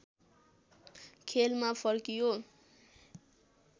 खेलमा फर्कियो